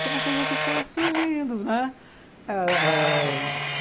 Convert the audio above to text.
Foi uma coisa que foi surgindo, né? ãh ãh